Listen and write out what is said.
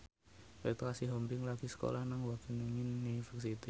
Petra Sihombing lagi sekolah nang Wageningen University